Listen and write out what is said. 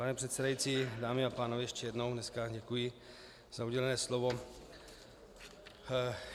Pane předsedající, dámy a pánové, ještě jednou dnes děkuji za udělené slovo.